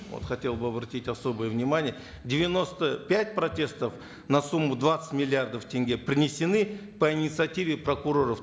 вот хотел бы обратить особое внимание девяносто пять протестов на сумму двадцать миллиардов тенге принесены по инициативе прокуроров